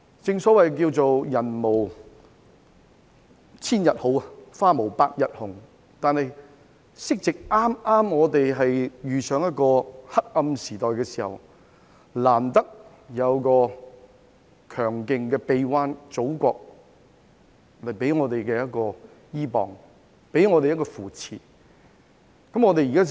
正所謂"人無千日好，花無百日紅"，香港剛好遇上一個黑暗時代，但難得可以依傍在祖國強勁的臂彎，得到扶持。